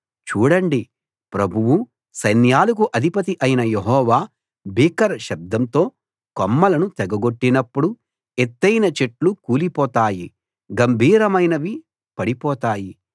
చూడండి ప్రభువూ సైన్యాలకు అధిపతి అయిన యెహోవా భీకర శబ్దంతో కొమ్మలను తెగగొట్టినప్పుడు ఎత్తయిన చెట్లు కూలిపోతాయి గంభీరమైనవి పడిపోతాయి